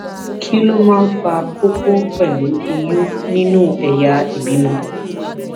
kí ló máa ń fa koko pelu oyun nínú ẹyà ìbímọ